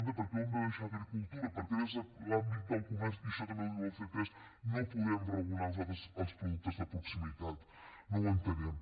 per què ho hem de deixar a agricultura per què des de l’àmbit del comerç i això també ho diu el ctesc no podem regular nosaltres els productes de proximitat no ho entenem